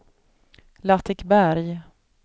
Latikberg